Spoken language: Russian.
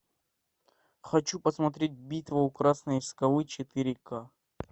хочу посмотреть битва у красной скалы четыре ка